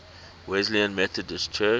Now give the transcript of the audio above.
wesleyan methodist church